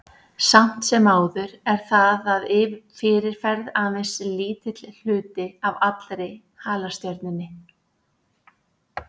Samt sem áður er það að fyrirferð aðeins lítill hluti af allri halastjörnunni.